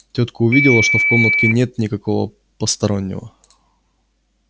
тётка увидела что в комнатке нет никакого постороннего